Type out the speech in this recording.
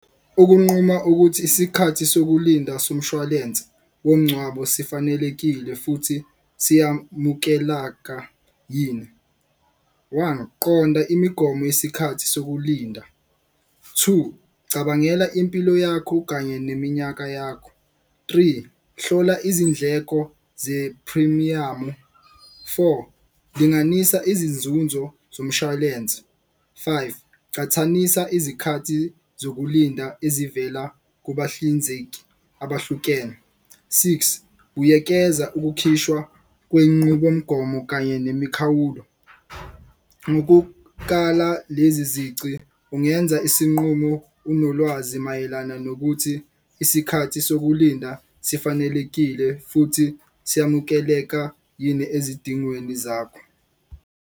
Ukunquma ukuthi isikhathi sokulinda somshwalense womngcwabo sifanelekile futhi siyamukelaka yini. One qonda imigomo yesikhathi sokulinda, two cabangela impilo yakho kanye neminyaka yakho, three hlola izindleko ze-phrimiyamu. Four linganisa izinzunzo zomshwalense, five cathanisa izikhathi zokulinda ezivela kubahlinzeki abahlukene. Six buyekeza ukukhishwa kwenqubomgomo kanye nemikhawulo. Ngokukala lezi zici ungenza isinqumo unolwazi mayelana nokuthi isikhathi sokulinda sifanelekile futhi seyamukeleka yini ezidingweni zakho.